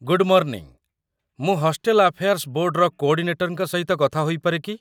Good morning, ମୁଁ hostel affairs ବୋର୍ଡର କୋଡ଼ିନେଟରଙ୍କ ସହିତ କଥା ହୋଇପାରେ କି ?